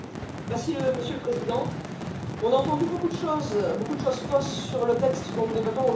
Monsieur le Président, on a entendu beaucoup de choses, beaucoup de choses fausses sur le texte dont nous débattons aujourd'hui.